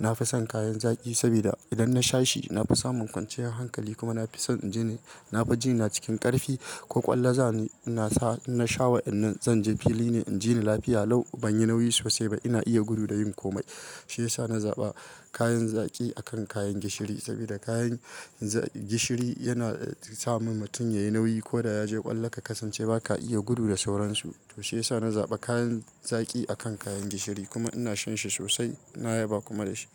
Na fi son kayan zaƙi sabida idan nasha shi na fi samun kwanciyar hankali kuma nafi son in jini, na fi jina ina cikin ƙarfi. Ko ƙwallo za ni, nasa in nasha wa'inan zanje fili ne in jini lafiya. Lau banyi nauyi sosai ba. Ina iya gudu da yin komai. Sai sa na zaɓa kayan zaƙi akan kayan gishiri sabida kayan gishiri yana samun mutum yayi nauyi. Ko da ya je ƙwallo ka kasance ba ka iya gudu da sauransu. To sai sa na zaɓa kayan zaƙi akan kayan gishiri kuma ina shan shi sosai. Na yaba kuma da shi.